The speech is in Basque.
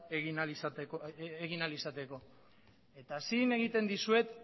egin ahal izateko eta zin egiten dizuet